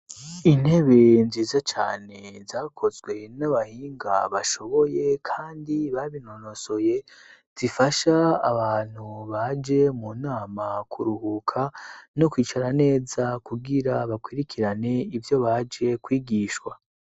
Intebe nziza cane zakozwe n'abahinga bashoboye kandi babinonosoye, zifasha abantu baje mu nama kuruhuka no kwicara neza kugira bakwirikirane ivyo baje kwigishwa.